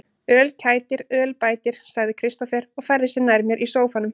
Öl kætir, öl bætir, sagði Kristófer og færði sig nær mér í sóffanum.